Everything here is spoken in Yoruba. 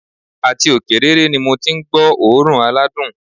Àti òkè rere ni mo ti n gbó òórùn aládùn